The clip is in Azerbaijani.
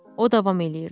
O davam eləyirdi.